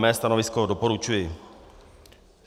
Mé stanovisko - doporučuji.